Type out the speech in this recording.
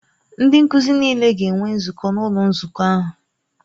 Ndị nkuzi niile ga-enwe nzukọ n'ụlọ nzukọ ahụ.